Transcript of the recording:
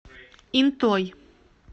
интой